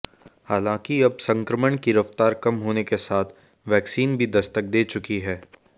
हालांकि अब संक्रमण की रफ्तार कम होने के साथ वैक्सीन भी दस्तक दे चुकी है